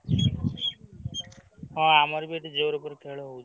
ଅ ଆମର ବି ଏଠି ଜୋରେ ଉପରେ ଖେଳ ହଉଛି।